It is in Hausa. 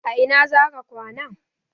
A ina za ka kwana?